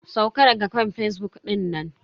Sauka daga kan fazbuk dinnan.